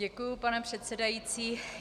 Děkuji, pane předsedající.